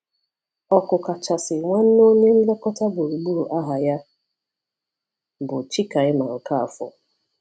Ọkụkachasị nwanne onye nlekọta gburugburu aha ya bụ Chikaima Okafor.